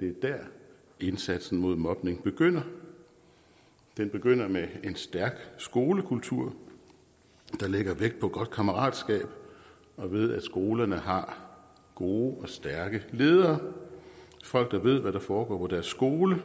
dér indsatsen mod mobning begynder den begynder med en stærk skolekultur der lægger vægt på godt kammeratskab og med at skolerne har gode og stærke ledere folk der ved hvad der foregår på deres skole